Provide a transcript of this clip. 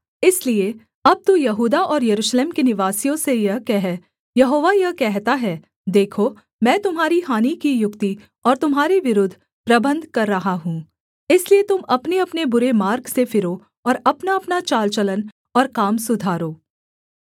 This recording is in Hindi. इसलिए अब तू यहूदा और यरूशलेम के निवासियों से यह कह यहोवा यह कहता है देखो मैं तुम्हारी हानि की युक्ति और तुम्हारे विरुद्ध प्रबन्ध कर रहा हूँ इसलिए तुम अपनेअपने बुरे मार्ग से फिरो और अपनाअपना चाल चलन और काम सुधारो